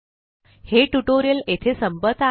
हे ट्यूटोरियल येथे संपत आहे